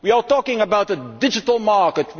We are talking about the digital market